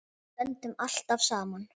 Við stöndum alltaf saman